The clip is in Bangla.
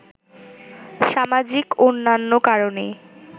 সামাজিক অন্যান্য কারণেই